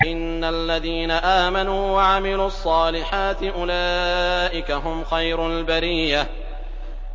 إِنَّ الَّذِينَ آمَنُوا وَعَمِلُوا الصَّالِحَاتِ أُولَٰئِكَ هُمْ خَيْرُ الْبَرِيَّةِ